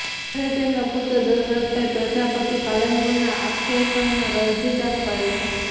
જ્યારે તેમના પુત્ર દશરથભાઈ પ્રજાપતિ પાલનપુરના આકેસણમાં દરજીકામ કરે છે